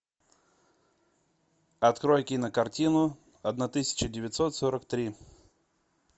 открой кинокартину одна тысяча девятьсот сорок три